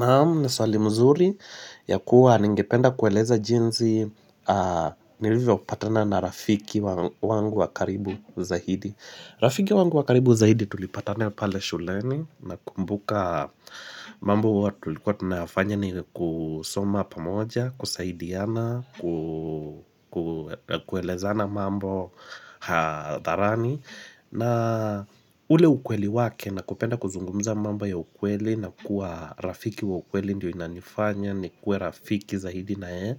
Naam, ni swali mzuri, ya kuwa ningependa kueleza jinzi nilivyopatana na rafiki wangu wa karibu zaidi. Rafiki wangu wa karibu zaidi tulipatana pale shuleni nakumbuka mambo huwa tu. Tulikuwa tunafanya ni kusoma pamoja, kusaidiana, kuelezana mambo hadharani. Na ule ukweli wake na kupenda kuzungumza mambo ya ukweli na kuwa rafiki wa ukweli ndio inanifanya nikuwe rafiki zaidi na yeye,